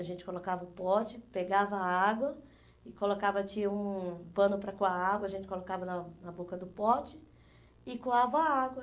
A gente colocava o pote, pegava a água, e colocava tinha um pano para coar a água, a gente colocava na na boca do pote e coava a água.